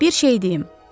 Bir şeyi deyim.